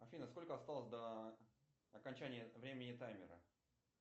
афина сколько осталось до окончания времени таймера